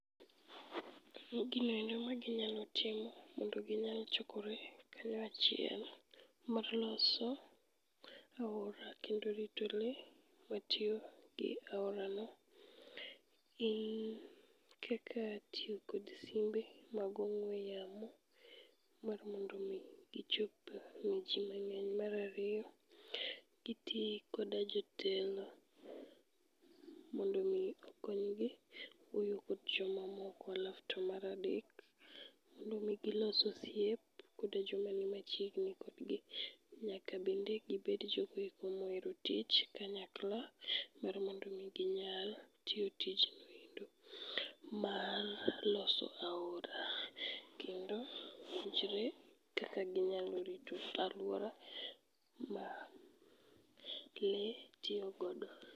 Ginoendo ma ginyalo timo mondo ginyal chokore kanyo achiel mar loso aora kendo rito le matiyo gi aorano. Gin kaka tiyokod simbe mag ong'we yamo, mar mondomi gichop ne ji mang'eny. Marariyo, giti koda jotelo mondo mi okonygi wuoyo kod jomamoko. Alafu to maradek, mondo mi gilos osiep koda jomani machiegni kodgi. Nyaka bende gibed jogoeko mohero tich kanyakla mar mondo mi ginyal tiyo tijno mar loso aora. Kendo winjre kaka ginyalo rito alwora ma le tiyo godo.